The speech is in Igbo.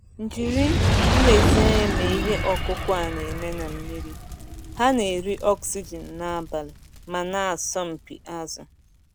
Jiri nlezianya mee ihe ọkụkụ a na-eme na mmiri - ha na-eri oxygen n'abalị ma na-asọmpi azụ.